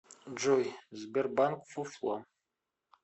джой сбербанк фуфло